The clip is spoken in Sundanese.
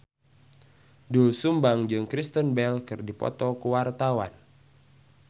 Doel Sumbang jeung Kristen Bell keur dipoto ku wartawan